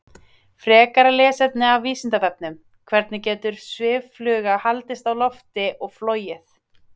Frekara lesefni af Vísindavefnum: Hvernig getur sviffluga haldist á lofti og flogið?